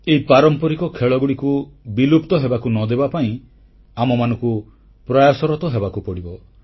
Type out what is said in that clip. ଏହି ପାରମ୍ପରିକ ଖେଳଗୁଡ଼ିକୁ ବିଲୁପ୍ତ ହେବାକୁ ନ ଦେବାପାଇଁ ଆମମାନଙ୍କୁ ପ୍ରୟାସରତ ହେବାକୁ ପଡ଼ିବ